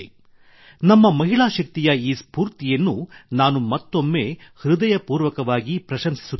ನಮ್ಮ ಮಹಿಳಾ ಶಕ್ತಿಯ ಈ ಸ್ಫೂರ್ತಿಯನ್ನು ನಾನು ಮತ್ತೊಮ್ಮೆ ಹೃದಯಪೂರ್ವಕವಾಗಿ ಪ್ರಶಂಸಿಸುತ್ತೇನೆ